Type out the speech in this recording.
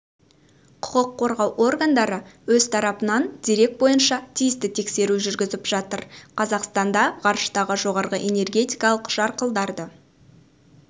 құқық қорғау органдары өз тарапынан дерек бойынша тиісті тексеру жүргізіп жатыр қазақстанда ғарыштағы жоғары энергетикалық жарқылдарды